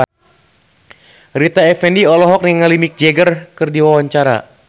Rita Effendy olohok ningali Mick Jagger keur diwawancara